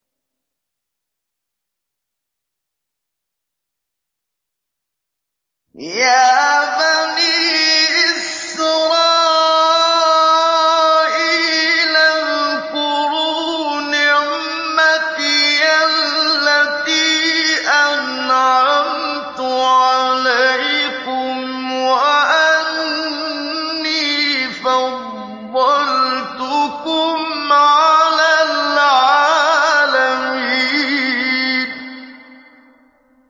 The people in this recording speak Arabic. يَا بَنِي إِسْرَائِيلَ اذْكُرُوا نِعْمَتِيَ الَّتِي أَنْعَمْتُ عَلَيْكُمْ وَأَنِّي فَضَّلْتُكُمْ عَلَى الْعَالَمِينَ